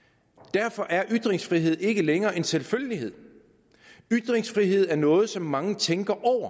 derfor er ytringsfrihed ikke længere en selvfølgelighed ytringsfrihed er noget som mange tænker